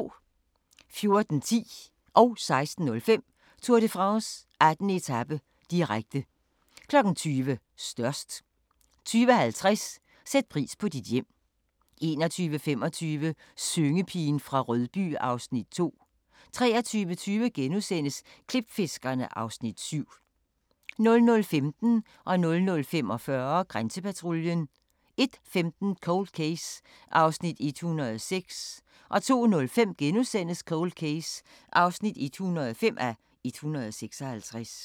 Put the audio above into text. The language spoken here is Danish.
14:10: Tour de France: 18. etape, direkte 16:05: Tour de France: 18. etape, direkte 20:00: Størst 20:50: Sæt pris på dit hjem 21:25: Syngepigen fra Rødby (Afs. 2) 23:20: Klipfiskerne (Afs. 7)* 00:15: Grænsepatruljen 00:45: Grænsepatruljen 01:15: Cold Case (106:156) 02:05: Cold Case (105:156)*